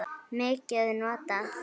mikið notað?